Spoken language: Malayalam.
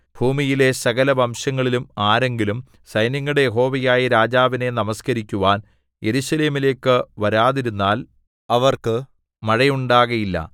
ഭൂമിയിലെ സകലവംശങ്ങളിലും ആരെങ്കിലും സൈന്യങ്ങളുടെ യഹോവയായ രാജാവിനെ നമസ്കരിക്കുവാൻ യെരൂശലേമിലേക്കു വരാതിരുന്നാൽ അവർക്ക് മഴയുണ്ടാകയില്ല